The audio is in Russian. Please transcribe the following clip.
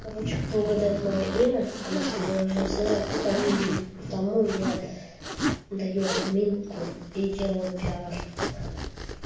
короче кто угадает моё имя а может его уже знают с фамилией тому я даю админку и делаю пиар